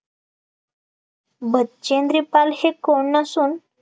बचेंद्री पाल हे कोण नसून